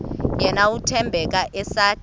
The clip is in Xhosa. yena uthembeka esathe